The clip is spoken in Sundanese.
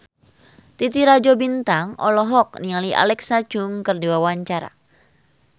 Titi Rajo Bintang olohok ningali Alexa Chung keur diwawancara